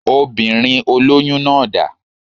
Obìnrin olóyún náà dá